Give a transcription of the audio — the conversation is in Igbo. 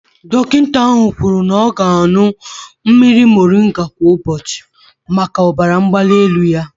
Dọkịta ahụ kwuru na ọ ga na-aṅụ mmiri moringa kwa ụbọchị maka ọbara mgbali elu ya.